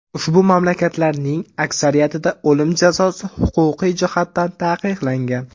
Ushbu mamlakatlarning aksariyatida o‘lim jazosi huquqiy jihatdan taqiqlangan.